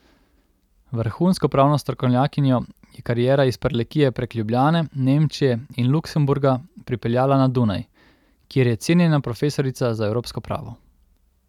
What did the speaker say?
Vrhunsko pravno strokovnjakinjo je kariera iz Prlekije prek Ljubljane, Nemčije in Luksemburga pripeljala na Dunaj, kjer je cenjena profesorica za evropsko pravo.